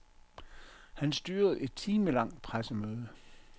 Han styrede et timelangt pressemøde.